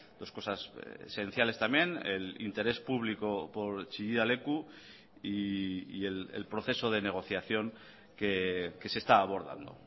dos cosas esenciales también el interés público por chillida leku y el proceso de negociación que se está abordando